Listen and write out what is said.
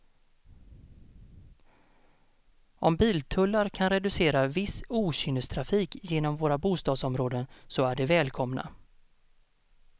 Om biltullar kan reducera viss okynnestrafik genom våra bostadsområden så är de välkomna.